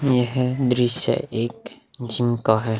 यह दृश्य एक जिम का है।